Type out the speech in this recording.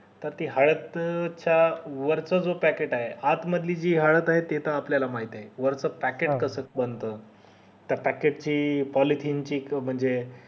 त ती हळद च्या वरच जो packet आहे आत मधली जी हळद आहे ती त आपल्याला माहित आहे वरच packet कसं बनत त्या packet ची policy म्हणजे